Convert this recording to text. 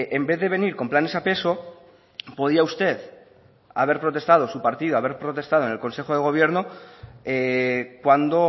en vez de venir con planes a peso podía usted haber protestado su partido haber protestado en el consejo de gobierno cuando